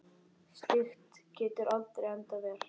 Slíkt getur aldrei endað vel.